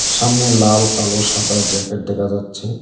সামনে লাল কালো সাদা জ্যাকেট দেখা যাচ্ছে।